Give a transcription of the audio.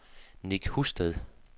Nick Husted